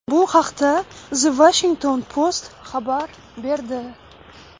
Bu haqda The Washington Post xabar berdi .